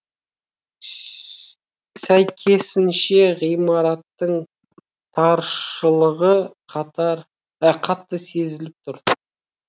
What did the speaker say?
сәйкесінше ғимараттың таршылығы қатты сезіліп тұр